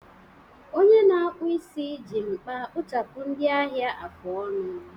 Onye na-akpụ isi ji mkpa gbuchapụ ndị ahịa afụ ọnụ